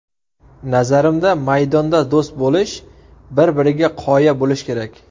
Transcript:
Nazarimda, maydonda do‘st bo‘lish, bir-biriga qoya bo‘lish kerak.